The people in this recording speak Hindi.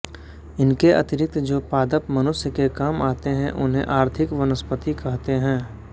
इनके अतिरिक्त जो पादप मनुष्य के काम आते हैं उन्हें आर्थिक वनस्पति कहते हैं